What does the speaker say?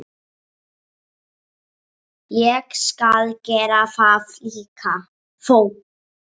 Ég skal gera það líka.